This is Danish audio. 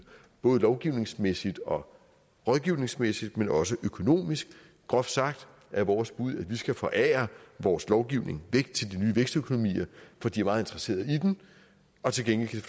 både lovgivningsmæssigt og rådgivningsmæssigt men også økonomisk groft sagt er vores bud at vi skal forære vores lovgivning væk til de nye vækstøkonomier for de er meget interesseret i den og til gengæld